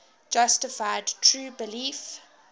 justified true belief